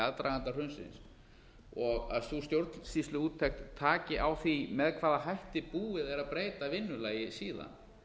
aðdraganda hrunsins og að sú stjórnsýsluúttekt taki á því með hvaða hætti búið er að breyta vinnulagi síðan